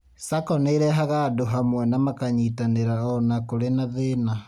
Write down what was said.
SACCO nĩirehaga andũ hamwe na makanyitanĩra o na kũri na thĩna